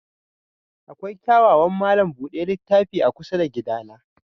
Akwai kyawawan malam buɗe littafi a kusa da gidana.